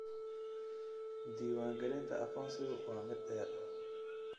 Diiwaangelinta aqoonsigu waa mid dheer.